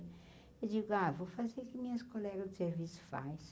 Eu digo, ah, vou fazer o que minhas colegas do serviço fazem